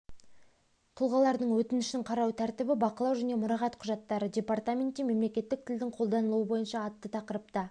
тұлғалардың өтініштерін қарау тәртібі бақылау және мұрағат құжаттары департаментте мемлекеттік тілдің қолданылуы бойынша атты тақырыпта